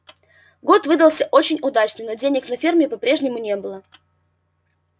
год выдался очень удачный но денег на ферме по-прежнему не было